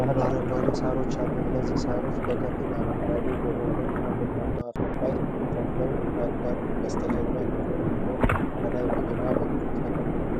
ያሉ አረንጓዴ ሣሮች አሉ። እነዚህ ሣሮች በከፊል አረንጓዴ በሆነ እና ቡናማ አፈር ላይ ተተክለው ያድጋሉ። በስተጀርባ ጥቁር ነገር ከላይ በግራ በኩል ተቀምጧል።